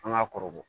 An ka kɔrɔbɔ